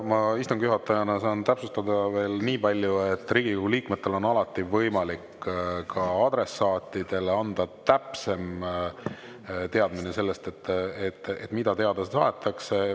Ma istungi juhatajana saan täpsustada veel nii palju, et Riigikogu liikmetel on alati võimalik anda adressaatidele täpsem teadmine sellest, mida teada tahetakse.